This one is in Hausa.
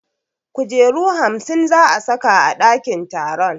Kujeru hamsin za a saka a ɗakin taron